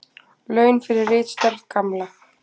Laun fyrir ritstörf Gamla.